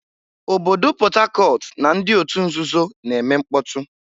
Obodo Port Harcourt na ndị otu nzuzo na-eme mkpọtụ.